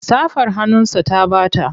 Safar hannunsa ta ɓata.